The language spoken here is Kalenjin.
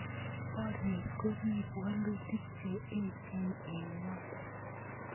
Borie ko kiibu wolutik che echeen eng ng'ony.